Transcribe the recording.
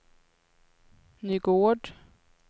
Nygård